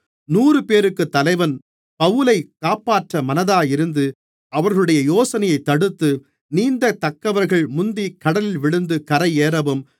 நூறுபேருக்குத் தலைவன் பவுலைக் காப்பாற்ற மனதாயிருந்து அவர்களுடைய யோசனையைத் தடுத்து நீந்தத்தக்கவர்கள் முந்திக் கடலில் விழுந்து கரையேறவும்